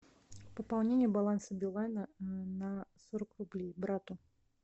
пополнение баланса билайна на сорок рублей брату